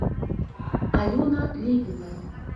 алена левина